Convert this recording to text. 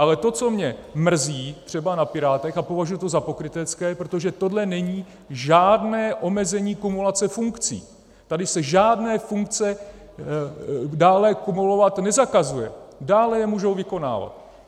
Ale to, co mě mrzí třeba na Pirátech, a považuji to za pokrytecké - protože tohle není žádné omezení kumulace funkcí, tady se žádné funkce dále kumulovat nezakazují, dále je můžou vykonávat.